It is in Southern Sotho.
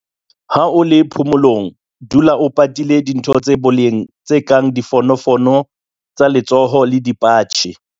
Ha o le phomolong, dula o patile dintho tsa boleng tse kang difonofono tsa letsoho le dipatjhe.